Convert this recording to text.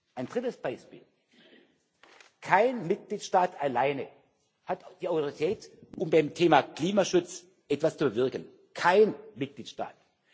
Ein drittes Beispiel Kein Mitgliedstaat alleine hat die Autorität, um beim Thema Klimaschutz etwas zu bewirken kein Mitgliedstaat!